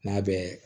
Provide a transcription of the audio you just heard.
N'a bɛ